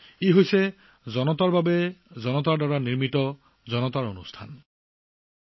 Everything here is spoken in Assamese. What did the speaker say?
ই ৰাইজৰ ৰাইজৰ বাবে ৰাইজৰ দ্বাৰা প্ৰদৰ্শন